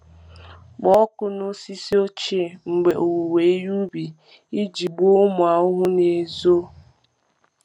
Kpọọ ọkụ n’osisi ochie mgbe owuwe ihe ubi iji gbuo ụmụ ahụhụ na-ezo. ahụhụ na-ezo.